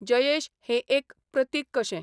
जयेश हें एक प्रतीक कशें.